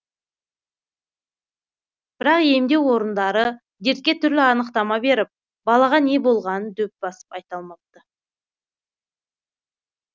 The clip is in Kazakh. бірақ емдеу орындары дертке түрлі анықтама беріп балаға не болғанын дөп басып айта алмапты